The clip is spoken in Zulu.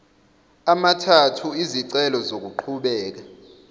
amathathu izicelo zokuqhubeka